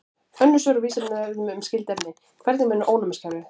Önnur svör á Vísindavefnum um skyld efni: Hvernig vinnur ónæmiskerfið?